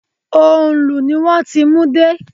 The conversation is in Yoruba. Òǹlù ni wón ti mú dé.